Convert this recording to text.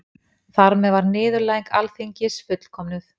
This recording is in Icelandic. Þar með var niðurlæging Alþingis fullkomnuð